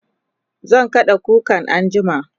zan kada kukan anjima